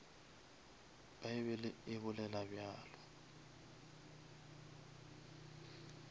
bible e bolela bjalo